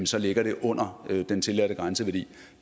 så ligger det under den tilladte grænseværdi